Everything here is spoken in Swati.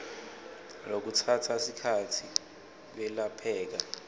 lokutsatsa sikhatsi kwelapheka